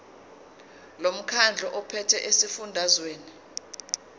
lomkhandlu ophethe esifundazweni